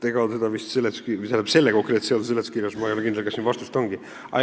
Ma ei ole kindel, kas selle konkreetse seaduse seletuskirjas vastust ongi.